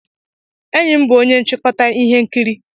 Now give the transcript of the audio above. Enyi m bụ onye nchịkọta ihe nkiri.